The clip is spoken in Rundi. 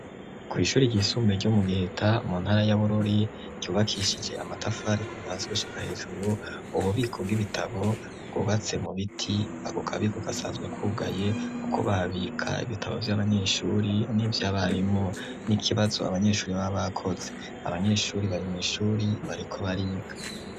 Ku'ishuri ryisumbe ryo mu giheta mu ntara yaborori ryubakishije amatafari kubahaziwushika hejuru, ubu biko bw'ibitabo bubatse mu biti akukabiko gasanzwe kwugaye, kuko babika ibitabo vy'abanyeshuri n'ivyo abarimo n'ikibazo abanyeshuri b'aba koze abanyeshuri bari mw'ishuri bariko bario ag.